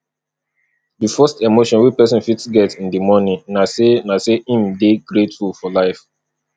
di first emotion wey person fit get in di morning na sey na sey im dey grateful for life